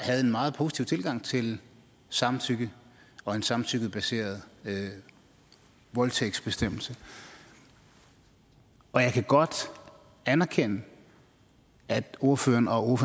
havde en meget positiv tilgang til samtykke og en samtykkebaseret voldtægtsbestemmelse og jeg kan godt anerkende at ordføreren og